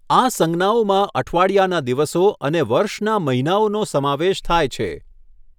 આ સંજ્ઞાઓમાં અઠવાડિયાના દિવસો અને વર્ષના મહિનાઓનો સમાવેશ થાય છે.